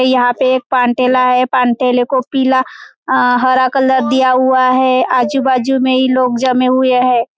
यहां पे एक पानटेला है पानटेले को पीला अ हरा कलर दिया हुआ है आजू बाजू मे ही लोग जमे हुए है।